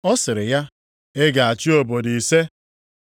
“Ọ sịrị ya, ‘Ị ga-achị obodo ise.’